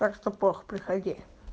так что пох приходи